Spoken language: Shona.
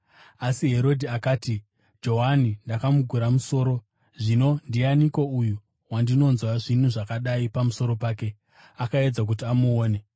Asi Herodhi akati, “Johani ndakamugura musoro. Zvino, ndianiko uyu wandinonzwa zvinhu zvakadai pamusoro pake?” Akaedza kuti amuone.